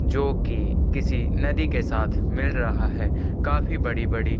जो की किसी नदी के साथ मिल रहा है काफी बड़ी-बड़ी --